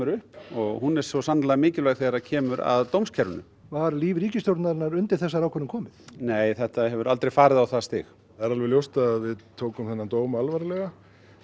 upp og hún er svo sannarlega mikilvæg þegar kemur að dómskerfinu var líf ríkisstjórnarinnar undir þessari ákvörðun komið nei þetta hefur aldrei farið á það stig það er alveg ljóst að við tókum þennan dóm alvarlega